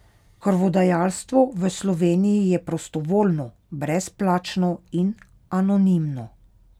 Krvodajalstvo v Sloveniji je prostovoljno, brezplačno in anonimno.